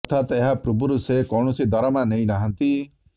ଅର୍ଥାତ ଏହା ପୂର୍ବରୁ ସେ କୌଣସି ଦରମା ନେଇ ନାହାନ୍ତି